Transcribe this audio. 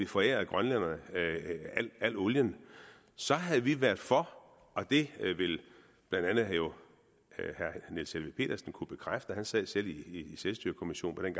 forærer grønlænderne alt olien så havde vi været for og det vil herre niels helveg petersen kunne bekræfte han sad dengang selv i selvstyrekommissionen